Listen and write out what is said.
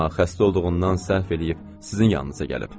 Amma xəstə olduğundan səhv eləyib sizin yanınıza gəlib.